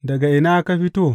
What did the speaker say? Daga ina ka fito?